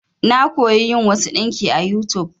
Na koya yin wasu ɗinki a YouTube.